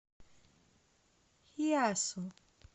хиасу